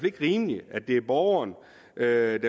ikke rimeligt at det er borgeren der